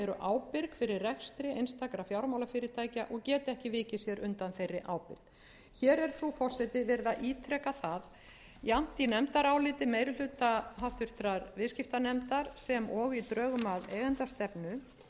ábyrg fyrir rekstri einstakra fjármálafyrirtækja og geta ekki vikið sér undan þeirri ábyrgð hér er frú forseti verið að ítreka það jafnt í nefndaráliti meiri hluta háttvirtur viðskiptanefndar sem og í drögum